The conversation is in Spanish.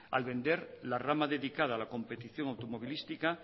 al vender la rama dedicada a la competición automovilística